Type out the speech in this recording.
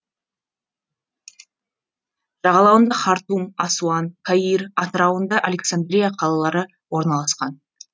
жағалауында хартум асуан каир атырауында александрия қалалары орналасқан